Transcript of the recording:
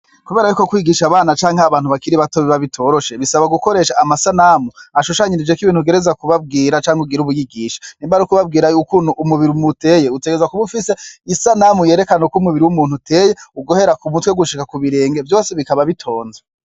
Kubera ko kw'igisha abana canke abantu bakiri bato biba bitoroshe, bisaba gukoresha amasanamu ashushanyirijeko ibintu utegerezwa kubabwira canke ugira ubigishe, nimba ari kubabwira ukuntu umubiri muteye utegeza kuba ufise isanamu yerekane ko umubiri w'umuntu uteye uguhera ku mutwe gushika ku birenge vyose bikaba bitonze.